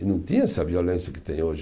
E não tinha essa violência que tem hoje.